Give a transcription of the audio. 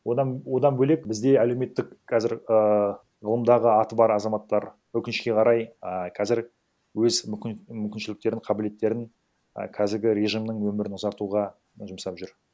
одан бөлек бізде әлеуметтік қазір ііі ғылымдағы аты бар азаматтар өкінішке қарай і қазір өз мүмкіншіліктерін қабілеттерін і қазіргі режимнің өмірін ұзартуға жұмсап жүр